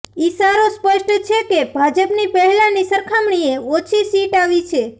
ઈશારો સ્પષ્ટ છે કે ભાજપની પહેલાની સરખામણીએ ઓછી સીટ આવી છે